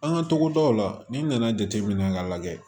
An ka togodaw la n'i nana jateminɛ k'a lajɛ